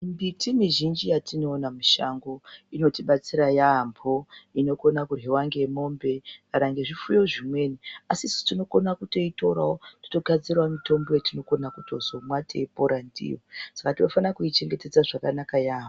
Mbiti dzatinoona mushango dzinobatsira yaamho. Inokona kuryiwa ngemombe kana ngezvifuyo zvimweni asi isu tinokona kutoitorawo totogadzirawo mitombo yatinotozokona kutomwa teipora ndiyo. Saka tinofanirwa kuichengetedza yaamho.